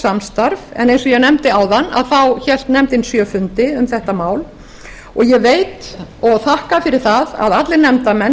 samstarf en eins og ég nefndi áðan hélt nefndin sjö fundi um þetta mál og ég veit og þakka fyrir það að allir nefndarmenn